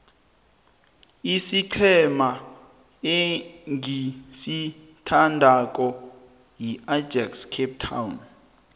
isiqhema engisithandako yiajax cape town